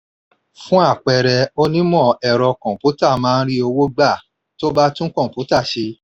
fun àpẹẹrẹ onímọ̀ ẹ̀rọ kọ̀ǹpútà máa ń rí owó gbà tó bá tún kọ̀ǹpútà ṣe